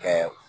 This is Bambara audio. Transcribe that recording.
Kɛ